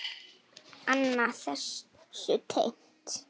Annað þessu tengt.